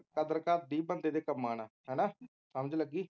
ਕਦਰ ਘੱਟਦੀ ਬੰਦੇ ਦੇ ਕੰਮਾਂ ਨਾਲ ਹੈਨਾ ਸਮਝ ਲੱਗੀ